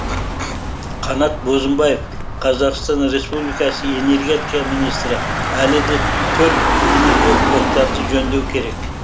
қанат бозымбаев қазақстан республикасы энергетика министрі әлі де төрт энергоблоктарды жөндеу керек